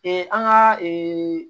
an ka ee